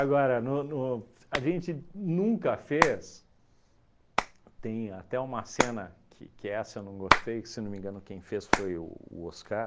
Agora, no no a gente nunca fez, tem até uma cena que que essa eu não gostei, que se não me engano quem fez foi o o Oscar.